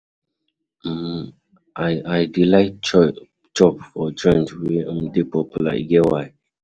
um I I dey like chop for joint wey um dey popular, e get why.